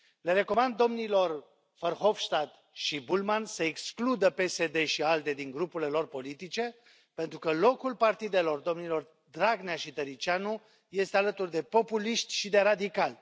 Le recomand domnilor Verhofstadt și Bullmann să excludă PSD și ALDE din grupurile lor politice, pentru că locul partidelor domnilor Dragnea și Tăriceanu este alături de populiști și de radicali.